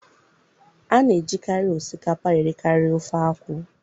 A na-ejikarị osikapa erikarị ofe akwụ